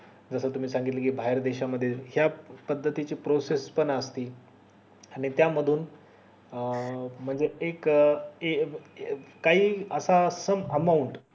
जस तुम्ही सांगितलं बाहेर च्या देशा मध्ये पद्धती ची processes पण असते आणि त्या मधून अं म्हणजे एक काही असा